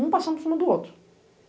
Um passando por cima do outro.